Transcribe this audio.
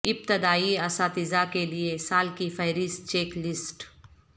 ابتدائی اساتذہ کے لئے سال کی فہرست چیک لسٹ